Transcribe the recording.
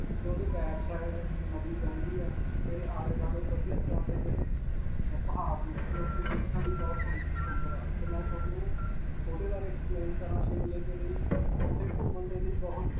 'ਤੇ ਉਸਦੀ backside ਨਦੀ ਵਗਦੀ ਹੈ 'ਤੇ ਆਲੇ-ਦੁਆਲੇ ਵਧੀਆ ਤਰ੍ਹਾਂ ਦੇ ਜਿਹੜੇ ਅਅ ਪਹਾੜ ਨੇ, 'ਤੇ ਉਥੇ ਦੇਖਣ ਲਈ ਬਹੁਤ ਸਸ ਸੁੰਦਰ ਹੈ ਤੇ ਮੈਂ ਤੁਹਾਨੂੰ ਉਸਦੇ ਬਾਰੇ explain ਕਰਨਾ Shimla ਦੇ ਲਈ, ਉਥੇ ਘੁਮੰਣ ਦੇ ਲਈ ਬਹੁਤ